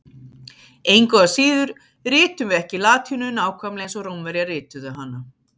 Engu að síður ritum við ekki latínu nákvæmlega eins og Rómverjar rituðu hana.